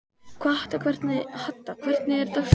Hadda, hvernig er dagskráin?